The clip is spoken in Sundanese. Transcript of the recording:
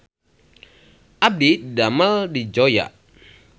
Abdi didamel di Zoya